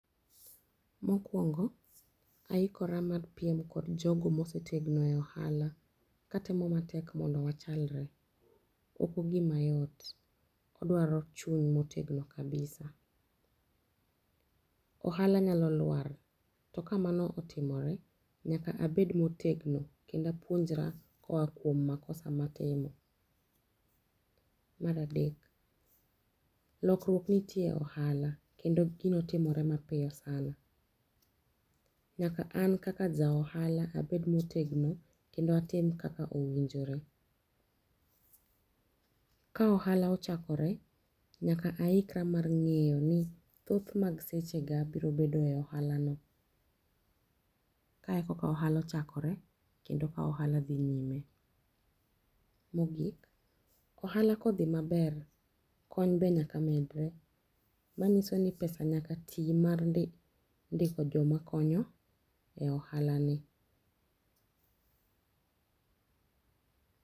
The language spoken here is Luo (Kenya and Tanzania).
Mokuongo aikora mar piem kod jogo mosetegno e ohala katemo mondo wachlre. Ok ogima yot odwaro chuny motegno kabisa. Ohala nyalo lwar to kamano otimore nyaka abed motegno kendo apuonjra koa kuom makosa matimo. Mar adek, lokruok nitie ohala kendo gino timore mapiyo saana. Nyaka an kaka ja ohala abed motegno kendo atim kaka owinjore. Ka ohala ochakore nyaka aikra mar ng'eyo ni thoth mag sechega biro bedo e ohalano. Kae kaka ohala ochakore kendo ka ohala dhi nyime. Mogik ,ohala ka odhi maber kony be nyaka medre manyisoni pesa nyaka ti mar ndiko joma konyo e ohalani.